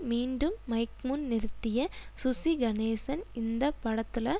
மீண்டும் மைக்முன் நிறுத்திய சுசிகணேசன் இந்த படத்துல